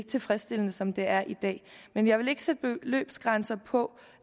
tilfredsstillende som det er i dag men jeg vil ikke sætte beløbsgrænser på